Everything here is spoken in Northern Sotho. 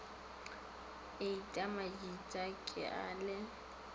heita majita ke a le